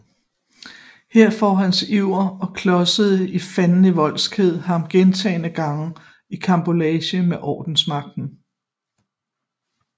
Her får hans iver og klodsede fandenivoldskhed ham gentagne gange i karambolage med ordensmagten